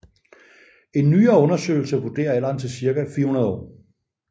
En nyere undersøgelse vurderer alderen til cirka 400 år